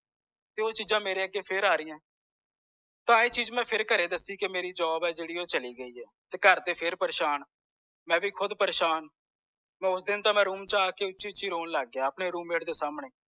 ਤੇ ਓਹ ਚੀਜ਼ਾਂ ਮੇਰੇ ਅਗੇ ਫੇਰ ਆਰਿਆਂ ਤਾਂ ਮੈ ਫੇਰ ਦਸਿਆ ਕਿ ਮੇਰੀ ਜੋ job ਆ ਜੇੜੀ ਓਹ ਚਲੀ ਗਈ ਆ ਘਰ ਦੇ ਫੇਰ ਪ੍ਰੇਸ਼ਾਨ ਮਈ ਖੁਦ ਪ੍ਰੇਸ਼ਾਨ ਓਸਦੀਨ ਤਾਂ ਮੈਂ room ਚ ਆਕੇ ਮੈਂ ਖੁਦ ਉੱਚੀ ਉੱਚੀ ਰੌਨ ਲੱਗ ਗਿਆ ਆਪਣੇ roommate ਦੇ ਸਾਮਣੇ